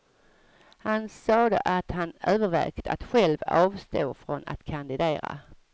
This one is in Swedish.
Han sade att han övervägt att själv avstå från att kandidera.